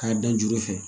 K'a dan juru fɛ